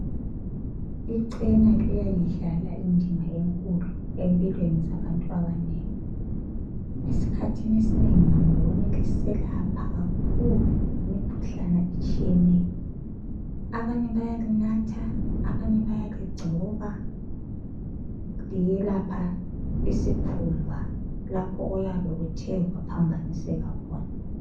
Icena liyayidlala indima enkulu empilweni zabantu abanengi esikhathini esinengi ngibona liselapha kakhulu imkhuhlane etshiyeneyo abanye bayalinatha abanye bayaligcoba liyelapha isikhumba lapho oyabe kuthe kwaphaniseka khona.